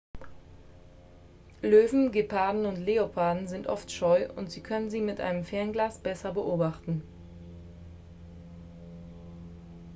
löwen geparden und leoparden sind oft scheu und sie können sie mit einem fernglas besser beobachten